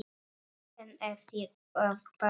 En eftir að Baldur.